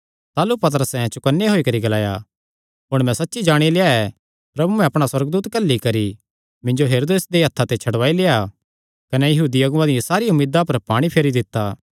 ताह़लू पतरसैं चौकन्ने होई करी ग्लाया हुण मैं सच्च जाणी लेआ ऐ प्रभुयैं अपणा सुअर्गदूत घल्ली करी मिन्जो हेरोदेस दे हत्थां ते छड़वाई लेआ कने यहूदी अगुआं दी सारी उम्मीदा पर पाणी फेरी दित्ता